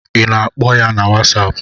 I na-akpọ ya na whasapu?